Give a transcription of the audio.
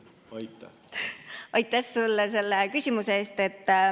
Aitäh sulle selle küsimuse eest!